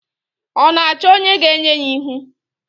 Ọ na-achọ onye ga-enye ya ihu?